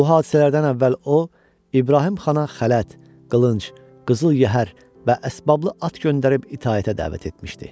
Bu hadisələrdən əvvəl o, İbrahim xana xələt, qılınc, qızıl yəhər və əsbaqalı at göndərib itaətə dəvət etmişdi.